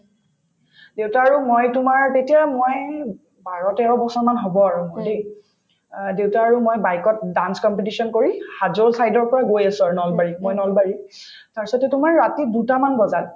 দেউতাৰ আৰু মই তোমাৰ তেতিয়া মই বাৰ-তেৰ বছৰমান হব আৰু মোৰ দেই অ দেউতা আৰু মই bike ত dance competition কৰি হাজো side ৰ পৰা গৈ আছো আৰু নলবাৰীত মই নলবাৰী তাৰপাছতে তোমাৰ ৰাতি দুটামান বজাত